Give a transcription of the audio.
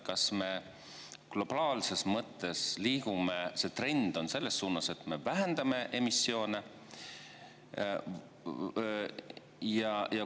Kas meil globaalses mõttes on trend selles suunas, et me vähendame emissioone?